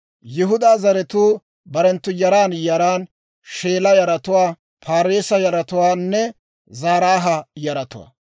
Yihudaa zaratuu barenttu yaran yaran: Sheela yaratuwaa, Paareesa yaratuwaanne Zaraaha yaratuwaa.